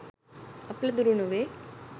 අපල දුරු නොවේ.